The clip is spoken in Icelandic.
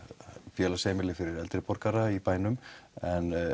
félagsheimili fyrir eldri borgara í bænum en